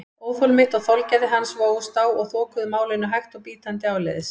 Óþol mitt og þolgæði hans vógust á og þokuðu málinu hægt og bítandi áleiðis.